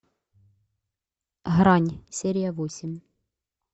грань серия восемь